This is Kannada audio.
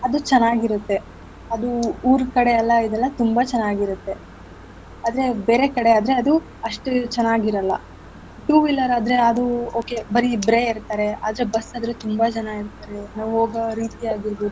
ಅದು ಚೆನ್ನಾಗಿರತ್ತೆ ಅದು ಊರಿನ ಕಡೆ ಎಲ್ಲಾ ಇದೆಲ್ಲ ತುಂಬಾ ಚೆನ್ನಾಗಿರತ್ತೆ ಆದ್ರೆ ಬೇರೆ ಕಡೆ ಆದ್ರೆ ಅದು ಅಷ್ಟು ಚೆನ್ನಾಗಿರಲ್ಲ. Two wheeler ಆದ್ರೆ ಅದು okay ಬರೀ ಇಬ್ರೆ ಇರ್ತಾರೆ ಆದ್ರೆ bus ಆದ್ರೆ ತುಂಬಾ ಜನ ಇರ್ತಾರೆ ನಾವ್ ಹೋಗೋ ರೀತಿ ಆಗಿರ್ಬೋದು.